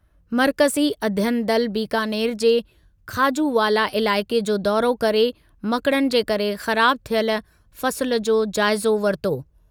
मर्कज़ी अध्ययन दल बीकानेर जे खाजूवाला इलाइक़े जो दौरो करे मकड़नि जे करे ख़राब थियल फसुलु जो जाइज़ो वरितो।